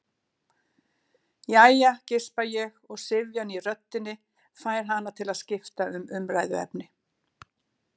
Jæja, geispa ég og syfjan í röddinni fær hana til að skipta um umræðuefni.